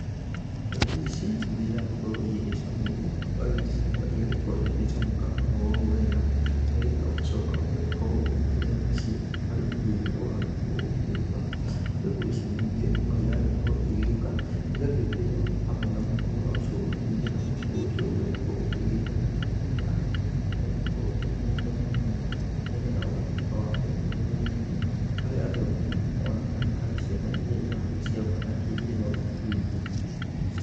Mbegũ ici, nĩiragĩkorũo igĩcamũrũo, ũgagĩcamũra igagĩkorũo igĩcamũka oroũũ wega, nĩgetha ũgacoka ũgakĩrĩa nacio, harĩ irio iria ũragĩkorũo ũgĩkĩruga. Mbegũ ici ningĩ, noirakorũo igĩgĩũka, igagĩthĩo, hamwe na mũtu wa ũcũrũ, nĩgetha ũcũrũ ũcio ũgagĩkorũo ũkĩgĩte na hinya, na ũgagĩkorũo ũkĩrĩ na indo mwanya mwanya, nĩgetha ũgatuĩka wa ũteithi mwĩrĩinĩ, harĩ andũ agima, ona kana harĩ ciana iria iragĩciarũo kana iria irĩ mathukuruinĩ.